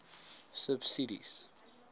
subsidies